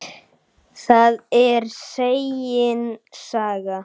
Það er segin saga.